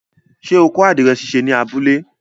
Ṣé o kọ́ àdìrẹ̀ ṣíṣe ní abúlé?